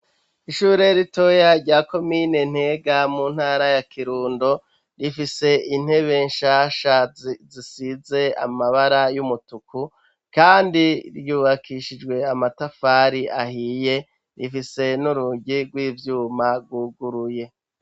Ishure ritoya rya komine ntega mu ntara ya kirundo, rifise intebe nshasha zisize amabara y'umutuku kandi ryubakishijwe amatafari ahiye rifise n'urugi rw'ivyuma rwuguruye.